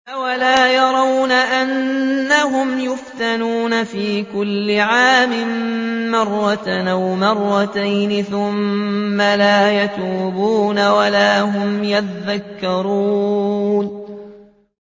أَوَلَا يَرَوْنَ أَنَّهُمْ يُفْتَنُونَ فِي كُلِّ عَامٍ مَّرَّةً أَوْ مَرَّتَيْنِ ثُمَّ لَا يَتُوبُونَ وَلَا هُمْ يَذَّكَّرُونَ